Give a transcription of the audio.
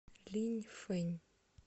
линьфэнь